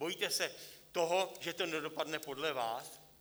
Bojíte se toho, že to nedopadne podle vás?